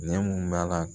Ne mun b'a la